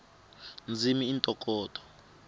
ndzimi i ntokoto